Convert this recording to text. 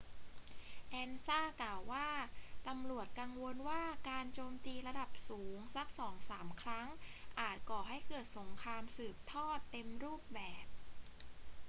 ansa กล่าวว่า ตำรวจกังวลว่าการโจมตีระดับสูงสักสองสามครั้งอาจก่อให้เกิดสงครามสืบทอดเต็มรูปแบบ